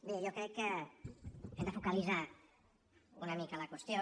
bé jo crec que hem de focalitzar una mica la qüestió